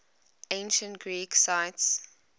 ancient greek sites